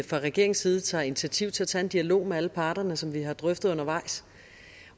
fra regeringens side tager initiativ til at tage en dialog med alle parterne som vi har drøftet undervejs